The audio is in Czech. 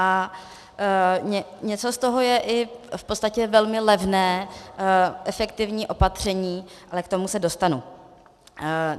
A něco z toho je i v podstatě velmi levné efektivní opatření, ale k tomu se dostanu.